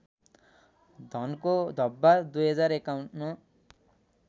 धनको धब्बा २०५१